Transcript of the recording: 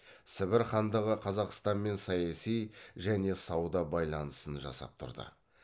сібір хандығы қазақстанмен саяси және сауда байланысын жасап тұрды